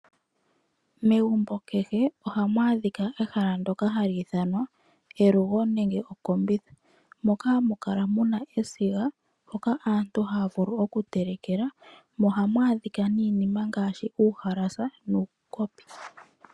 Megumbo kehe ohamu adhika ehala ndyoka hali ithanwa elugo nenge okombitha, moka hamu kala muna esiga, hoka aantu haya vulu oku telekela, mo ohamu adhika iinima ngaashi uuhalasha nuukopi.